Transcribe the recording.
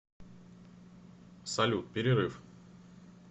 салют перерыв